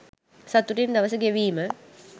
සතුටින් දවස ගෙවීම